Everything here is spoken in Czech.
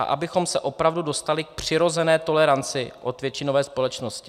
A abychom se opravdu dostali k přirozené toleranci od většinové společnosti.